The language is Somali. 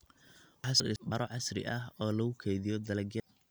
Waxaa sidoo kale la dhisay bakhaaro casri ah oo lagu keydiyo dalagyada.